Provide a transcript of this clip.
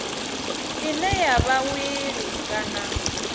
ine ya vha wili kana